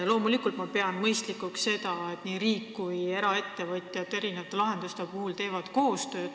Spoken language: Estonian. Loomulikult ma pean mõistlikuks seda, et nii riik kui eraettevõtjad teevad erinevate lahenduste puhul koostööd.